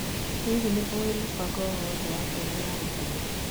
Hihi nĩ ũĩ mũbango o wothe wa tũhũ ya gũtuma